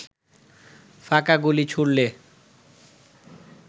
ফাঁকা গুলি ছুড়লে